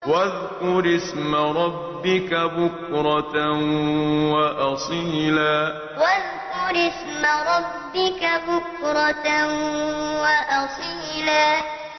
وَاذْكُرِ اسْمَ رَبِّكَ بُكْرَةً وَأَصِيلًا وَاذْكُرِ اسْمَ رَبِّكَ بُكْرَةً وَأَصِيلًا